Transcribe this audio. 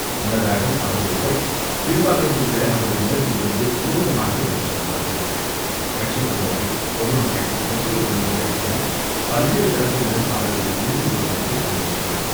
முன்னதாக அவரது உடல் கீழ்ப்பாக்கத்தில் உள்ள அவரது இல்லத்திலிருந்து ஊர்வலமாக எடுத்துச் செல்லப்பட்டது. கட்சித் தொண்டர்கள், பொதுமக்கள், முக்கியப் பிரமுகர்கள் என பல்வேறு தரப்பினரும் அவரது இறுதி ஊர்வலத்தில் பங்கேற்றனர்.